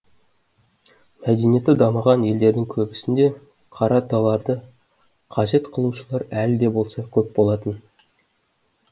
мәдениеті дамыған елдердің көбісінде қара товарды қажет қылушылар әлі де болса көп болатын